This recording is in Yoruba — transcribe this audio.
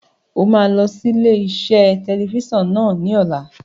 O máa lọ sí ilé-iṣẹ́ tẹlifíṣàn náà ní ọ̀la.